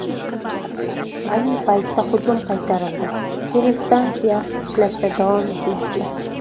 Ayni paytda hujum qaytarildi, telestansiya ishlashda davom etmoqda.